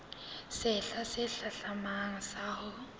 sehla se hlahlamang sa ho